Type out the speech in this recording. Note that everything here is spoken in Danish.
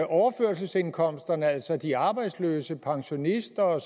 overførselsindkomst altså de arbejdsløse pensionisterne